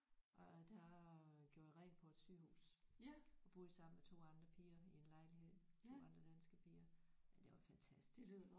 Og der gjorde jeg rent på et sygehus og boede sammen med 2 andre piger i en lejlighed 2 andre danske piger men det var fantastisk